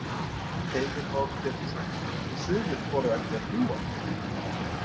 Heimir Már Pétursson: Og sumir þora ekki að fljúga?